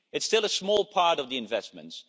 it's still a small part of the investments.